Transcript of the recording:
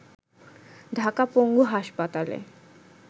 ঢাকা পঙ্গু হাসপাতালে